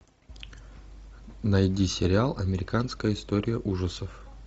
найди сериал американская история ужасов